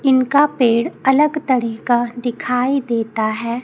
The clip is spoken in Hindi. इनका पेड़ अलग तरीका दिखाई देता है।